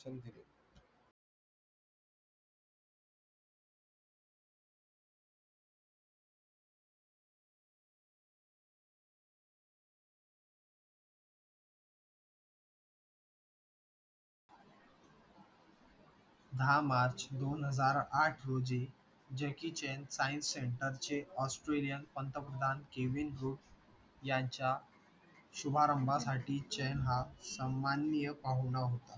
दहा मार्च दोन हजार आठ रोजी jackie chan science center चे australia पंतप्रधान kevin rudd यांच्या शुभारंभासाठी chan हा सन्माननीय पाहुणा होता